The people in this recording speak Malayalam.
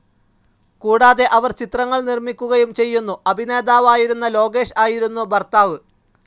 കൂടാതെ അവർ ചിത്രങ്ങൾ നിർമിക്കുകയും ചെയ്യുന്നു, അഭിനേതാവായിരുന്ന ലോകേഷ് ആയിരുന്നു ഭർത്താവു.